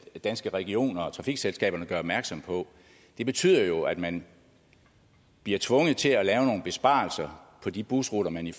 det danske regioner og trafikselskaberne gør opmærksom på det betyder jo at man bliver tvunget til at lave nogle besparelser på de busruter man i